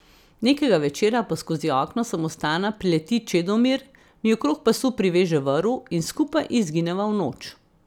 Nekega večera pa skozi okno samostana prileti Čedomir, mi okrog pasu priveže vrv in skupaj izgineva v noč.